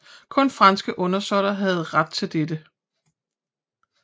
Kun franske undersåtter havde ret til dette